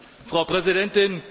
Frau Präsidentin!